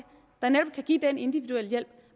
det give den individuelle hjælp